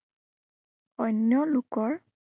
অন্য় লোকৰ